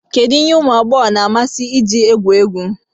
Kedu ihe ụmụ agbọghọ na-amasị iji egwu egwu